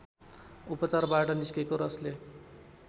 उपचारबाट निस्केको रसले